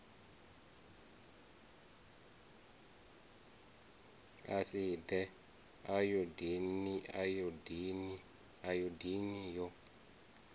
a si ḓe ayodini yo